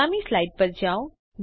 આગામી સ્લાઇડ પર જાઓ